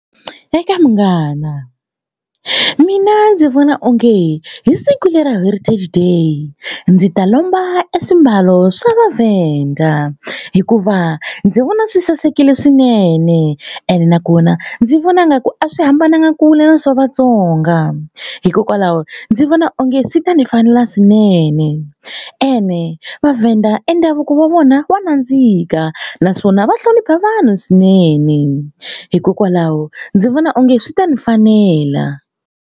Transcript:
Eka munghana mina ndzi vona onge hi siku lera Heritage Day ndzi ta lomba e swimbalo swa vaVenda hikuva ndzi vona swi sasekile swinene ene nakona ndzi vona nga ku a swi hambananga ku vula swa Vatsonga hikokwalaho ndzi vona onge swi ta ni fanela swinene ene vaVenda e ndhavuko wa vona wa nandzika naswona va hlonipha vanhu swinene hikokwalaho ndzi vona onge swi ta ni fanela.